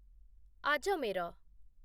Ajmer